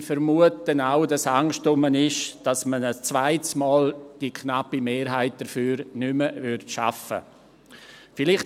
Ich vermute auch, dass Angst vorhanden ist, dass man die knappe Mehrheit dafür ein zweites Mal nicht mehr schaffen würde.